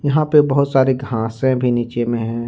यहां पे बहुत सारे घासे भी नीचे में है।